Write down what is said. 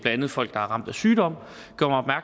andet folk der er ramt af sygdom